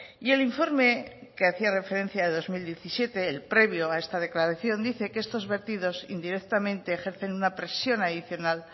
y el informe que hacía referencia de dos mil diecisiete el previo a esta declaración dice que estos vertidos indirectamente ejercen una presión adicional